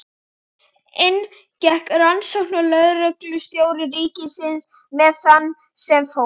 Inn gekk rannsóknarlögreglustjóri ríkisins með þann sem fór.